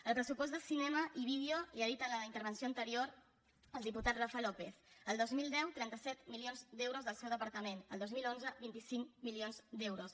el pressupost de cinema i vídeo li ho ha dit en la intervenció anterior el diputat rafa lópez el dos mil deu trenta set milions d’euros del seu departament el dos mil onze vint cinc milions d’euros